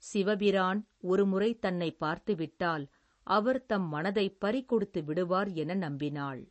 சிவபிரான், ஒரு முறை தன்னைப் பார்த்து விட்டால், அவர் தம் மனதைப் பறிகொடுத்து விடுவார் என நம்பினாள்.